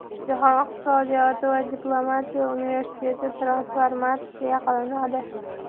Jahon iqtisodiyoti va diplomatiya universiteti transformatsiya qilinadi.